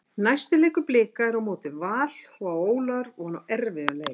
Næsti leikur Blika er á móti Val og á Ólafur von á erfiðum leik.